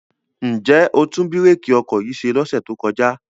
Ǹ jẹ́ o tún bírèkì ọkọ̀ yìí ṣe lọ́sẹ̀ tó kọjá?